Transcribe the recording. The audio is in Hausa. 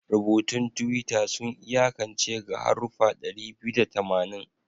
Rubutun Twitter sun iyakance ga haruffa ɗari biyu da tamanin